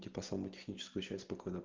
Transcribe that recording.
типа саму техническую часть спокойно